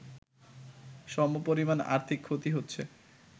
সমপরিমাণ আর্থিক ক্ষতি হচ্ছে